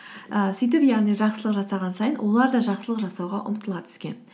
і сөйтіп яғни жақсылық жасаған сайын олар да жақсылық жасауға ұмтыла түскен